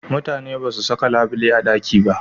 Mutane ba su saka labule a ɗaki da